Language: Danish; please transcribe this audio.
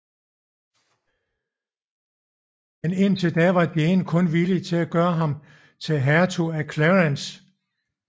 Men indtil da var Jane kun villig til at gøre ham til hertug af Clarence